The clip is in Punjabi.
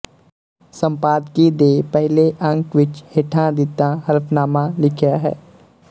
ਸੰਪਾਦਕੀ ਦੇ ਪਹਿਲੇ ਅੰਕ ਵਿੱਚ ਹੇਠਾਂ ਦਿੱਤਾ ਹਲਫਨਾਮਾ ਲਿਖਿਆ ਹੈ